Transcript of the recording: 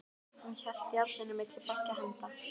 Hann hélt járninu milli beggja handa.